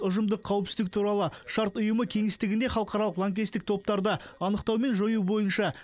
ұжымдық қауіпсіздік туралы шарт ұйымы кеңістігінде халықаралық лаңкестік топтарды анықтау мен жою бойынша